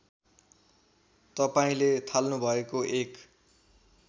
तपाईँंले थाल्नुभएको एक